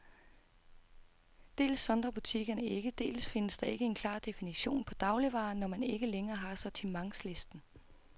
Dels sondrer butikkerne ikke, dels findes der ikke en klar definition på dagligvarer, når man ikke længere har sortimentslisten.